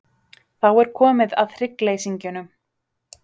Þá er komið að hryggleysingjunum.